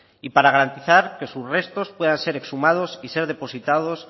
y para garantizar que sus restos puedan ser exhumados y ser depositados